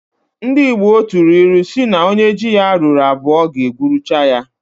Ndi igbo tụrụ ilu si na onye ji ya ruru abụọ ga egwuruchaya.